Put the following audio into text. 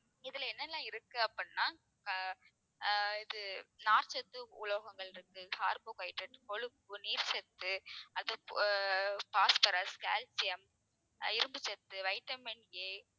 இதுல என்னெல்லாம் இருக்கு அப்படின்னா அஹ் ஆஹ் இது நார்ச் சத்து, உலோகங்கள் இருக்கு carbohydrates கொழுப்பு நீர்ச்சத்து அது அஹ் phosphorus, calcium அஹ் இரும்பு சத்து vitaminA